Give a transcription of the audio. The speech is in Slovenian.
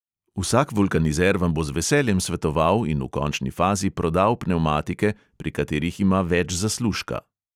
Vsak vulkanizer vam bo z veseljem svetoval in v končni fazi prodal pnevmatike, pri katerih ima več zaslužka.